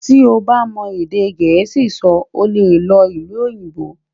tí o bá mọ èdè gèésì sọ, ọ lẹ ló ìlú òyìnbó